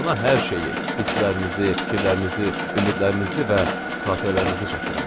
Ona hər şeyi, hisslərinizi, fikirlərinizi, ümidlərinizi və xatirələrinizi çatdırım.